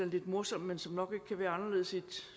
lidt morsomt men som nok ikke kan være anderledes i et